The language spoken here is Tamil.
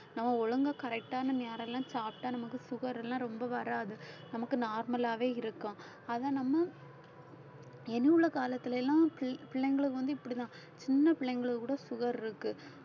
நம்ம ஒழுங்கா correct ஆன நேரம் எல்லாம் சாப்பிட்டா நமக்கு sugar எல்லாம் ரொம்ப வராது நமக்கு normal ஆவே இருக்கும் அதை நம்ம என்ன உள்ள காலத்துல எல்லாம் பிள்ளைங்களுக்கு வந்து இப்படித்தான் சின்ன பிள்ளைங்களுக்கு கூட sugar இருக்கு